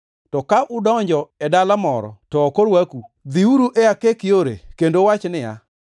To ka udonjo e dala moro to ok orwaku, dhiuru e akek yore kendo uwach niya,